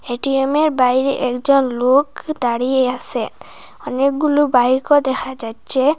এটিএমের বাইরে একজন লোক দাঁড়িয়ে আসেন অনেকগুলু বাইকও দেখা যাচ্ছে।